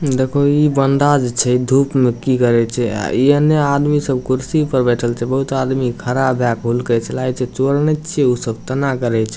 देखोह इ बंदा जे छै इ धुप में की करे छै आ इ एन्ने आदमी सब कुर्सी पर बइठल छै बहुत आदमी खड़ा भए के हूलके छै लागे छै चोर ने छीये उ सब तना करे छै।